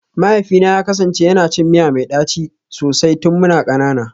Mahaifina ya kasance yana cin miya mai daci sosai tun muna kanana